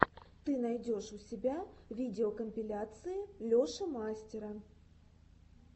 ты найдешь у себя видеокомпиляции леши мастера